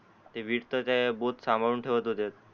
ते विठ ते बोत सांभाळून ठेवत होते